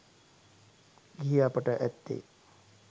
ගිහි අපට ඇත්තේ